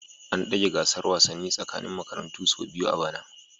An dage gasar wasanni ta tsakanin makarantu sau biyu a bana